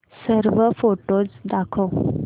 सर्व फोटोझ दाखव